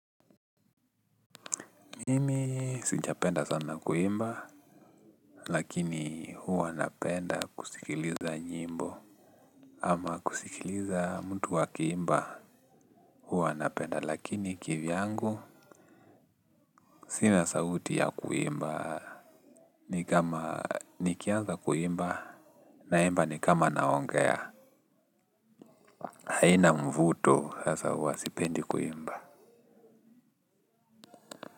Mimi sijapenda sana kuimba, lakini huwa napenda kusikiliza nyimbo. Ama kusikiliza mtu akiimba. Huwa napenda lakini kivyangu, sina sauti ya kuimba. Ni kama nikianza kuimba, naimba ni kama na ongea. Haina mvuto, sasa huwa sipendi kuimba.